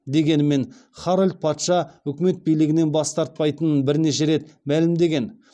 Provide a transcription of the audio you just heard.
дегенмен харальд патша өкімет билігінен бас тартпайтынын бірнеше рет мәлімдеген